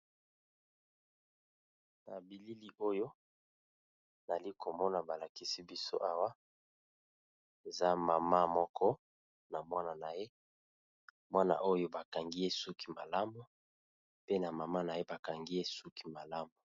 Na bilili oyo balakisi biso Awa eza maman na Mwana naye , Mwana naye ba kangiye suki malamu pe na maman naye Bakangiye suki malamu.